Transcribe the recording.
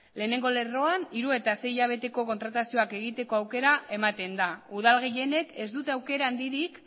lehenengo lerroan hiru eta sei hilabeteko kontratazioak egiteko aukera ematen da udal gehienek ez dute aukera handirik